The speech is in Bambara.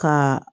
Ka